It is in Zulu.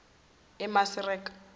emasireka